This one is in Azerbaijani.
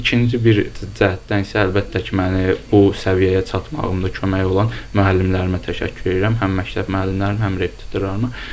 İkinci bir cəhətdən isə əlbəttə ki, məni bu səviyyəyə çatmağımda kömək olan müəllimlərimə təşəkkür edirəm, həm məktəb müəllimlərimə, həm repetitorlarıma.